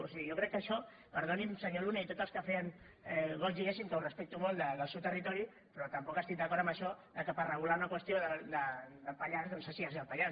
o sigui jo crec que això perdoni’m senyor luna i tots els que feien goig diguéssim que ho respecto molt del seu territori però tampoc estic d’acord en això que per regular una qüestió del pallars doncs s’hagi de ser del pallars